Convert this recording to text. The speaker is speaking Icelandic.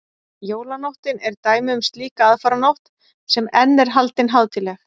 jólanóttin er dæmi um slíka aðfaranótt sem enn er haldin hátíðleg